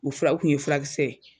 O fura o kun ye fulakisɛ ye.